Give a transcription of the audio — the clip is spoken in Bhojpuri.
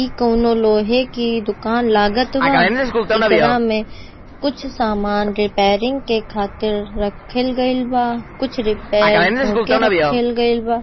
इ कोनो लोहे के दुकान लागत बा एकरा में कुछ सामान रिपेयरिंग खातिर रखल गइल बा कुछ रिपेयर होके रखल गइल बा।